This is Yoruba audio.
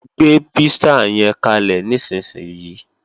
Gbé písà yẹn kalẹ̀ nísinsìnyí!